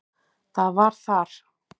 Það var þar.